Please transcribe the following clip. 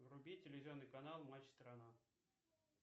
вруби телевизионный канал матч страна